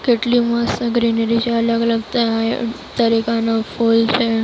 કેટલી મસ્ત ગ્રીનરી છે. અલગ અલગ ત અહ તરીકાના ફૂલ છે.